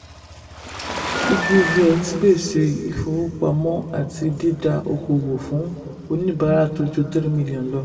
piggyvest ń pèsè ìfowópamọ àti dída okoòwò fún oníbàárà tó ju three million lọ.